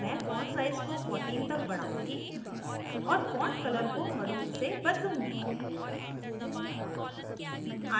मैं font size को 14 तक बढ़ाउंगी और font color को maroon से बदलूंगी